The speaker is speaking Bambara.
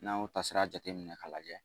N'an ye taatasira jate minɛ k'a lajɛ